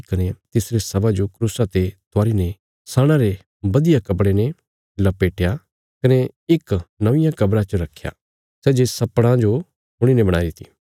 कने तिसरे शवा जो क्रूसा ते त्वारीने सणा रे बधिया कपड़े ने लपेटया कने इक नौंईयां कब्रा च रखया सै जे सपड़ा जो खुणीने बणाईरी थी